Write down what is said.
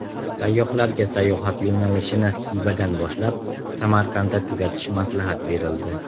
Sayyohlarga sayohat yo‘nalishini Xivadan boshlab Samarqandda tugatish maslahat berildi.